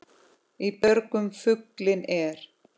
Í björgum fuglinn er.